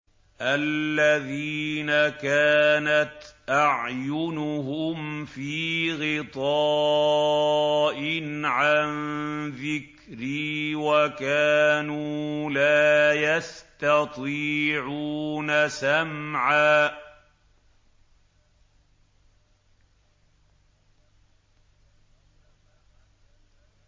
الَّذِينَ كَانَتْ أَعْيُنُهُمْ فِي غِطَاءٍ عَن ذِكْرِي وَكَانُوا لَا يَسْتَطِيعُونَ سَمْعًا